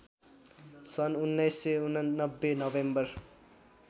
सन् १९८९ नोभेम्बर